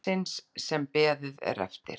Mannsins sem beðið er eftir.